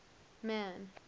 man